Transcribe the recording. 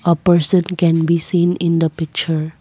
a person can be seen in the picture.